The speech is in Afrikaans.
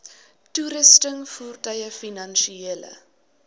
toerusting voertuie finansiële